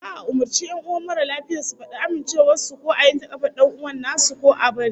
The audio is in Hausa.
Za'a umurci 'yan uwan mara lafiyar su fadi amincewar su ko a yanke kafar dan'uwan nasu, ko a bari